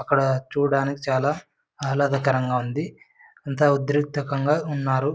అక్కడ చూడానికి చాల ఆహ్లదకరంగా ఉంది. అంత ఉదిర్తకంగా ఉన్నారు.